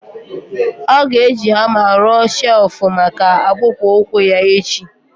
Ọ ga-eji hama rụọ chelfụ maka akpụkpọ ụkwụ ya echi.